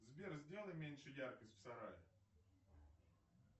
сбер сделай меньше яркость в сарае